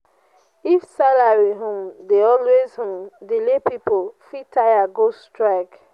if salary um dey always um delay pipo fit tire go strike.